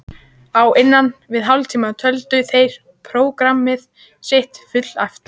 Á innan við hálftíma töldu þeir prógramm sitt fullæft.